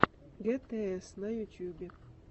гтс на ютубе